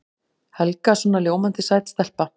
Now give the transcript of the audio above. Helga svona ljómandi sæt stelpa.